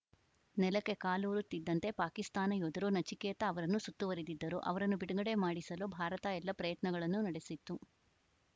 ನೆಲಕ್ಕೆ ಕಾಲೂರುತ್ತಿದ್ದಂತೆ ಪಾಕಿಸ್ತಾನ ಯೋಧರು ನಚಿಕೇತ ಅವರನ್ನು ಸುತ್ತುವರಿದಿದ್ದರು ಅವರನ್ನು ಬಿಡುಗಡೆ ಮಾಡಿಸಲು ಭಾರತ ಎಲ್ಲ ಪ್ರಯತ್ನಗಳನ್ನೂ ನಡೆಸಿತ್ತು